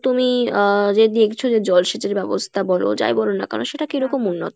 তুমি আহ যে দেখছো যে জলসেচের ব্যবস্থা বলো যাই বলো না কেনো সেটা কিরকম উন্নত?